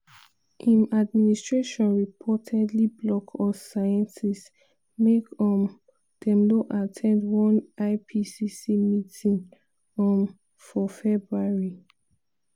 im administration reportedly block us scientists make um dem no at ten d one ipcc meeting um for february.